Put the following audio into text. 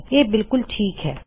ਇਹ ਬਿਲਕੁਲ ਠੀਕ ਹੈ